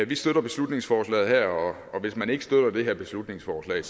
vi støtter beslutningsforslaget her og hvis man ikke støtter det her beslutningsforslag